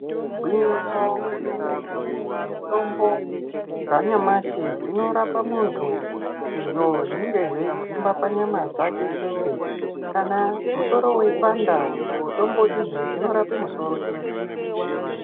Igwinyiso remene mene kuti mitombo dzanyamashi dzinorapa muntu izvo zvinonga zveidzimba panyama dzake chete kana musoro weipanda mitombo idzi dzinorapa musoro chete .